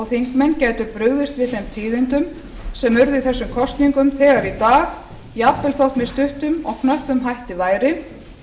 þingmenn gætu brugðist við þeim tíðindum sem urðu í þessum kosningum þegar í dag jafnvel þótt með stuttum og knöppum væri